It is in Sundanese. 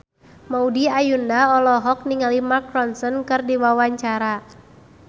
Maudy Ayunda olohok ningali Mark Ronson keur diwawancara